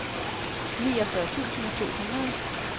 niogfyrre tusind to hundrede